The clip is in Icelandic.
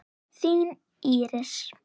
Þín Íris.